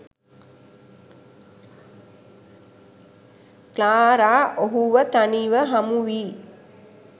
Clara ඔහුව තනිව හමුවී